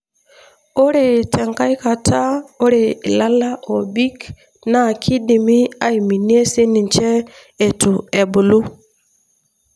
ore tenkae kata ore ilala obik na kindimi aminie sininche etu ebulu.